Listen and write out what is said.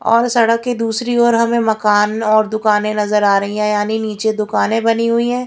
और सड़क की दूसरी ओर हमें मकान और दुकाने नजर आ रही हैं यानी नीचे दुकाने बनी हुई है।